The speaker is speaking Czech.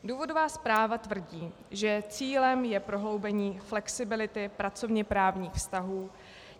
Důvodová zpráva tvrdí, že cílem je prohloubení flexibility pracovněprávních vztahů.